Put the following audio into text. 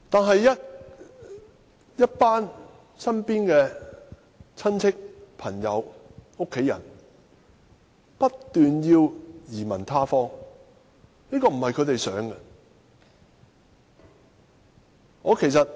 可是，身邊的親戚、朋友和家人不斷說要移民他方，而這並非他們所願。